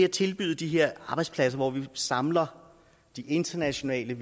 tilbyde de her arbejdspladser hvor man samler de internationale